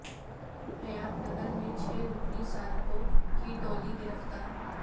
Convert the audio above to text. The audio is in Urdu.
حیات نگر میں چھ رکنی سارقوں کی ٹولی گرفتار